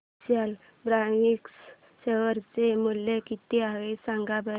विशाल fabrics share चे मूल्य किती आहे सांगा बरं